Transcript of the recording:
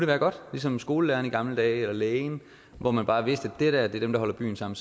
være godt ligesom skolelæreren i gamle dage eller lægen hvor man bare vidste de der er dem der holder byen sammen